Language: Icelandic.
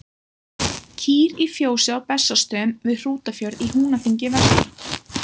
Kýr í fjósi á Bessastöðum við Hrútafjörð í Húnaþingi vestra.